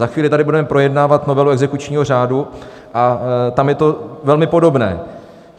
Za chvíli tady budeme projednávat novelu exekučního řádu a tam je to velmi podobné.